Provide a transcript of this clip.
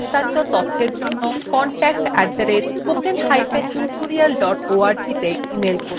এই বিষয় বিস্তারিত তথ্যের জন্য contact @spokentutorial org তে ইমেল করুন